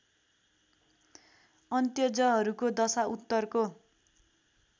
अन्त्यजहरूको दशा उत्तरको